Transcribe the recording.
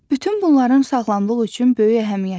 Bütün bunların sağlamlıq üçün böyük əhəmiyyəti var.